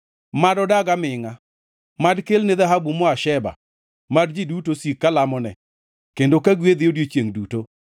Mad odag amingʼa! Mad kelne dhahabu moa Sheba. Mad ji duto sik ka lamone kendo ka gwedhe odiechiengʼ duto.